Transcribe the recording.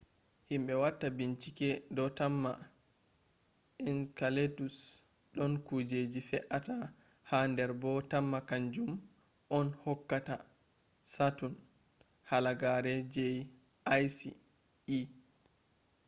himbe watta binchike do tamma enceladus don kujeji fe’ata ha der bo temma kanjum on hokkata saturn halagare je icy e